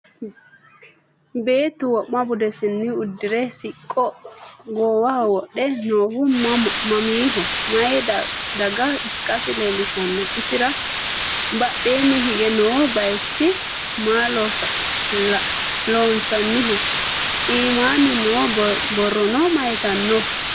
Beettu wo'ma buddisenni udirre siqqo goowaho wodhe noohu mamiho? Mayi dagaha ikkassi leelishshanno? Isira badheenni hige noo bayiichchi maa loosanniho? iimmanni noo borronno mayiittanno?